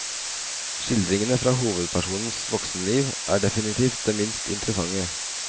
Skildringene fra hovedpersonens voksenliv er definitivt de minst interessante.